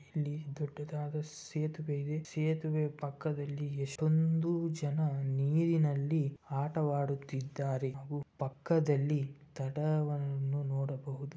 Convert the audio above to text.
ಇಲ್ಲಿ ದೊಡ್ಡದಾದ ಸೇತುವೆ ಇದೆ ಸೇತುವೆ ಪಕ್ಕದಲ್ಲಿ ಎಷ್ಟೋ ಜನ ನೀರಿನಲ್ಲಿ ಆಟವಾಡುತ್ತಿದ್ದಾರೆ ಹಾಗು ಪಕ್ಕದಲ್ಲಿ ದಡವನ್ನು ನೋಡಬಹುದು.